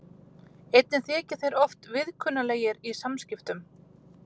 Einnig þykja þeir oft viðkunnanlegir í samskiptum.